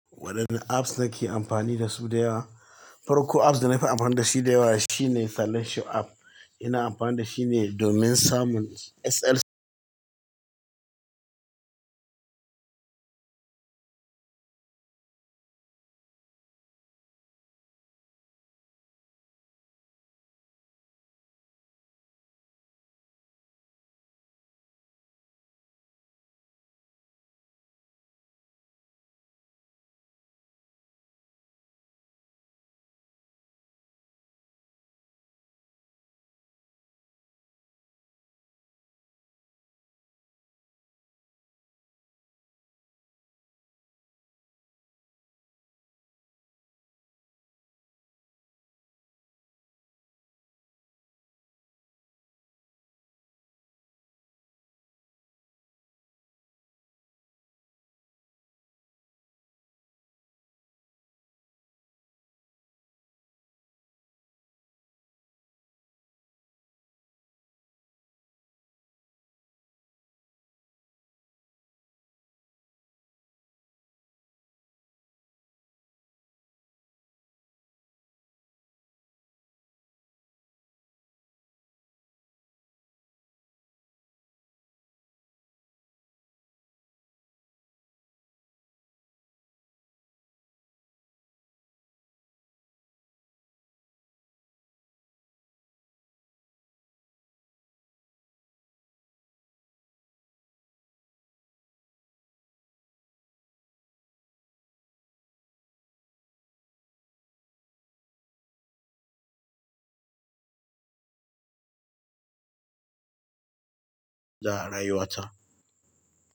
Wadanne apps nake amfani da su da yawa? Farko apps da na fi amfana da shi da yawa shine selection app. Ina amfani da shi ne domin samun SL.